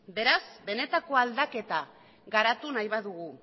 beraz benetako aldaketa garatu nahi badugu